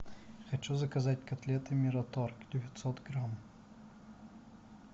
хочу заказать котлеты мираторг девятьсот грамм